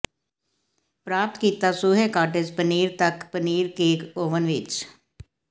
ਪ੍ਰਾਪਤ ਕੀਤਾ ਸੂਹੇ ਕਾਟੇਜ ਪਨੀਰ ਤੱਕ ਪਨੀਰ ਕੇਕ ਓਵਨ ਵਿੱਚ